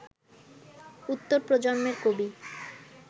উত্তর প্রজন্মের কবি